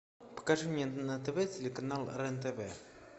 покажи мне на тв телеканал рен тв